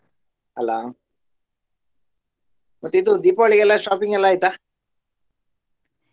ಅಲ್ಲಾ? ಮತ್ತೆ ಇದು Deepavali ಗೆಲ್ಲಾ shopping ಎಲ್ಲ ಆಯ್ತಾ?